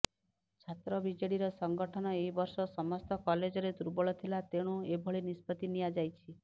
ଛାତ୍ର ବିଜେଡିର ସଂଗଠନ ଏହି ବର୍ଷ ସମସ୍ତ କଲେଜରେ ଦୁର୍ବଳ ଥିଲା ତେଣୁ ଏଭଳି ନିଷ୍ପତ୍ତି ନିଆଯାଇଛି